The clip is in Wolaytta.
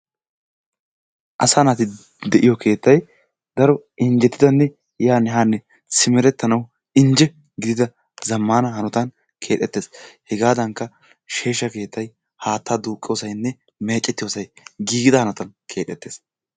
Asaa naati de'iyo keettay daro injjetidanne yaanne haanne simerettanawu injje gidida zammaana hanotan keexettees. Hegaadankka sheeshsha keettay, haattaa duuqiyosaynne meecettiyosay giigida hanotan keexettees.